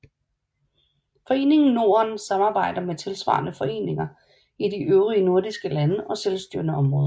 Foreningen Norden samarbejder med tilsvarende foreninger i de øvrige nordiske lande og selvstyrende områder